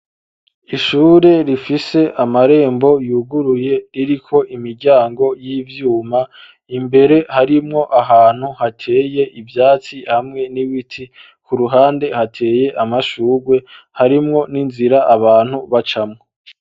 Ishure rifise amarembo yuguruye ririko imiryango y'ivyuma imbere harimwo ahantu hateye ivyatsi hamwe n'iwiti ku ruhande hateye amashugwe harimwo n'inzira abantu bacamwo.